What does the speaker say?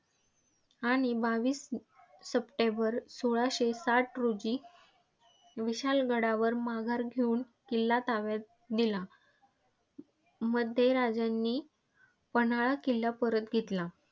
आणि बावीस सप्टेंबर सोळाशे साठ रोजी विशाळगडावर माघार घेऊन किल्ला ताब्यात दिला. मध्ये राजांनी पन्हाळा किल्ला परत घेतला.